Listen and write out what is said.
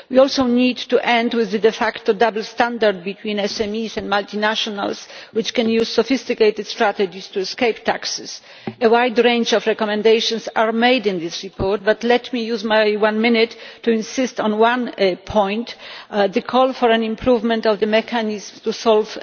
We also need to end the de facto double standards between SMEs and multinationals, which can use sophisticated strategies to escape taxes. A wide range of recommendations are made in this report, but let me use my one minute to insist on one point the call for an improvement in the mechanism to solve